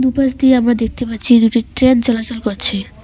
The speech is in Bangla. দুপাশ দিয়ে আমরা দেখতে পাচ্ছি দুইটি একটি ট্রেন চলাচল করছে।